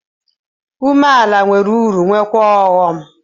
Nwetu onwe nwere uru na ọghọm.